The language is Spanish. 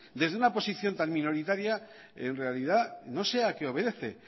desde una posición tan minoritaria en realidad no sé a qué obedece